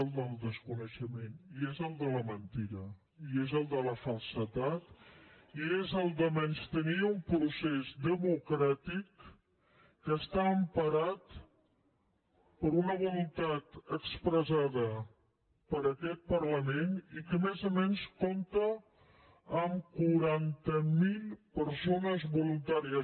el del desconeixement i és el de la mentida i és el de la falsedat i és el del menystenir un procés democràtic que està emparat per una voluntat expressada per aquest parlament i que més o menys compta amb quaranta mil persones voluntàries